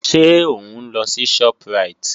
Ṣé òun lọ sí Shoprite?